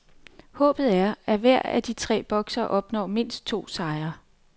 Håbet er, at hver af de tre boksere opnår mindst to sejre.